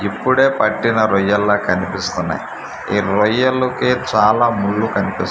ఇప్పుడే పట్టిన రొయ్యల్లా కనిపిస్తున్నాయ్ ఈ రొయ్యలు కి చాలా ముళ్ళు కనిపిస్--